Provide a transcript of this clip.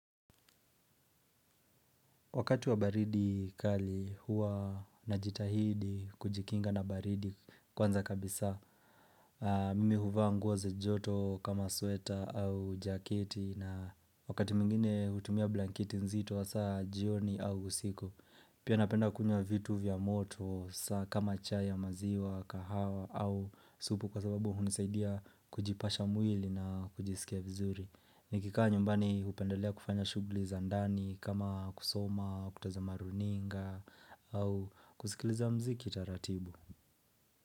Wakati wa baridi kali huwa na jitahidi kujikinga na baridi kwanza kabisa. Mimi huvaa nguo za joto kama sweta au jaketi na wakati mwingine hutumia blankiti nzito saa jioni au usiku. Pia napenda kunya vitu vya moto kama chai ya maziwa, kahawa au supu kwa sababu hunisaidia kujipasha mwili na kujisikia vizuri. Nikikaa nyumbani hupendelea kufanya shughuli za ndani kama kusoma, kutaza maruninga au kusikiliza mziki taratibu.